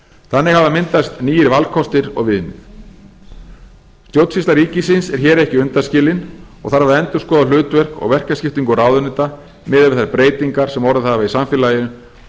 þannig hafa myndast nýir valkostir og viðmið stjórnsýsla ríkisins er hér ekki undanskilin og þarf að endurskoða hlutverk og verkaskiptingu ráðuneyta miðað við þær breytingar sem orðið hafa í samfélaginu